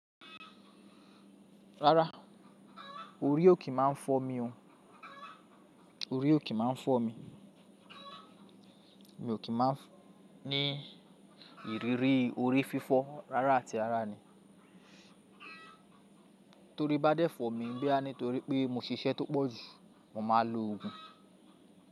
Rárá orí ò kí máa ń fọ́ mi oh. Orí ò kí máa ń fọ́ mi. Mi ò kí máa ń ní ìrírí orí fífọ́ rárá tí ara ni. Torí bá dẹ́ fọ́ mi, gbẹ́ á ní torí pé mo ṣiṣẹ́ tó pọ̀jù, mo máa lo òògùn.